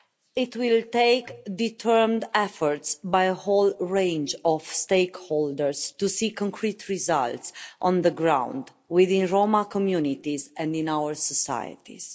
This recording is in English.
It will take determined efforts by a whole range of stakeholders to see concrete results on the ground within Roma communities and in our societies.